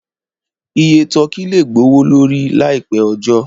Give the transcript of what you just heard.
Iye tọ́kì lè gbowó lórí láì pẹ́ ọjọ́